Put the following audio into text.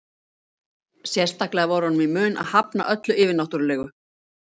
Sérstaklega var honum í mun að hafna öllu yfirnáttúrulegu.